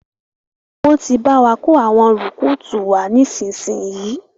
Wọn tí bá wà kò àwọn rùkútù wá nísinsìnyí